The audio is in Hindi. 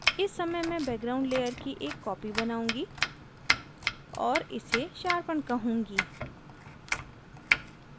इस समय मैं background layer की एक copy बनाउंगी और इसे sharpen कहूँगी